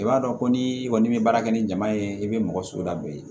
I b'a dɔn ko ni i kɔni bɛ baara kɛ ni jama ye i bɛ mɔgɔ so lade